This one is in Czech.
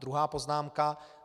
Druhá poznámka.